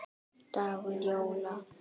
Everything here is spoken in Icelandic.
dagur jóla.